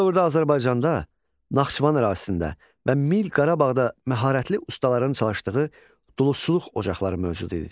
Bu dövrdə Azərbaycanda Naxçıvan ərazisində və Mil Qarabağda məharətli ustaların çalışdığı duluzçuluq ocaqları mövcud idi.